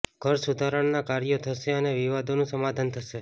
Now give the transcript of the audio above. ઘર સુધારણાનાં કાર્યો થશે અને વિવાદોનું સમાધાન થશે